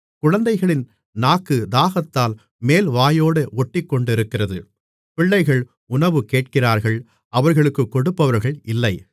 குழந்தைகளின் நாக்கு தாகத்தால் மேல்வாயோடே ஒட்டிக்கொண்டிருக்கிறது பிள்ளைகள் உணவுகேட்கிறார்கள் அவர்களுக்கு கொடுப்பவர்கள் இல்லை